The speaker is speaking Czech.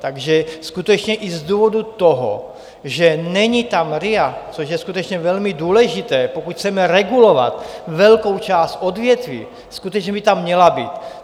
Takže skutečně i z důvodu toho, že není tam RIA, což je skutečně velmi důležité, pokud chceme regulovat velkou část odvětví, skutečně by tam měla být.